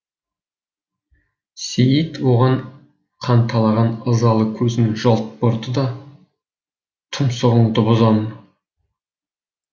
сейіт оған қанталаған ызалы көзін жалт бұрды да тұмсығыңды бұзамын